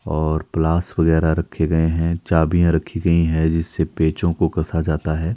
और प्लास वगैरह रखे गए हैं चाभियां रखी गई हैं जिससे पेचों को कसा जाता है।